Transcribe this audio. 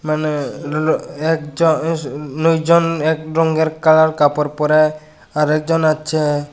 এখানে লো একজ আঃ লোকজন এক রঙ্গের কালার কাপড় পড়ে আরেকজন হচ্ছে।